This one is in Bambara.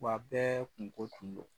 Wa bɛɛ kungo tun don.